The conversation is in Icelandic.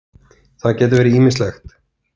Það gæti verið ýmislegt.